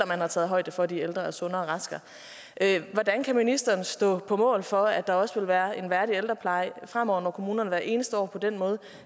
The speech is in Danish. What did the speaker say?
man har taget højde for at de ældre er mere sunde og raske hvordan kan ministeren stå på mål for at der også vil være en værdig ældrepleje fremover når kommunerne hvert eneste år på den måde